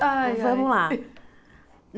Ai ai vamos lá.